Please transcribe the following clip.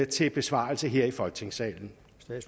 til besvarelse her i folketingssalen